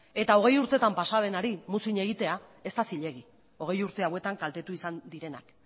eta hogei urtetan pasa denari muzin egitea ez da zilegi hogei urte hauetan kaltetu izan direnak